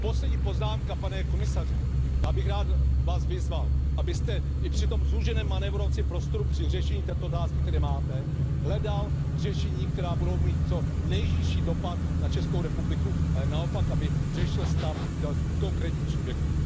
Poslední poznámka, pane komisaři, já bych vás rád vyzval, abyste i při tom zúženém manévrovacím prostoru při řešení této otázky, který máte, hledal řešení, která budou mít co nejnižší dopad na Českou republiku, ale naopak budou řešit stav konkrétního subjektu.